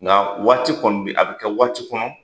Nka waati kɔni bi a bɛ kɛ waati kɔnɔ